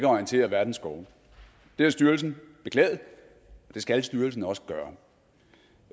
orientere verdens skove det har styrelsen beklaget og det skal styrelsen også gøre